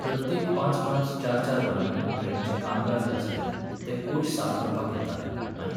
प्रत्येक पांच पांच, चार चार वरांनी ट्रेनीचे कामगार जे आसले, ते कोच साफ करपाक येताले, आनी